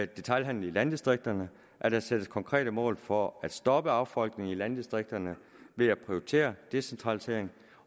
detailhandlen i landdistrikterne at der sættes konkrete mål for at stoppe affolkningen af landdistrikterne ved at prioritere decentraliseringen